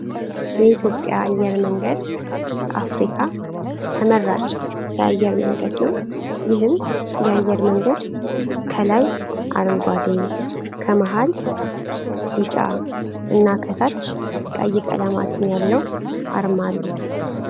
የኢትዮጵያ አየር መንገድ ከአፍሪካ ተመራጫ የአየር መንገድ ነው። ይህም የአየር መንገድ ከላይ አረንጓዴ ከመሀል ቢጫ እና ከታች ቀይ ቀለማትን ያለው አርማ አሉት።